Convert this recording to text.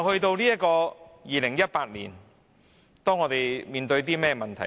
到了2018年，我們要面對甚麼問題？